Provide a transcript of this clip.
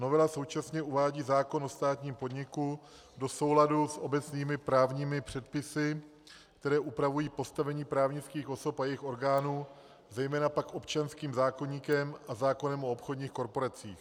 Novela současně uvádí zákon o státním podniku do souladu s obecnými právními předpisy, které upravují postavení právnických osob a jejich orgánů, zejména pak občanským zákoníkem a zákonem o obchodních korporacích.